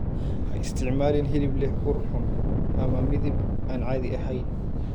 Ha isticmaalin hilib leh ur xun ama midab aan caadi ahayn.